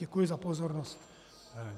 Děkuji za pozornost.